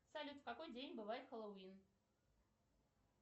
салют в какой день бывает хэллоуин